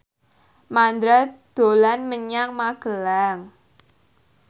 Mandra dolan menyang Magelang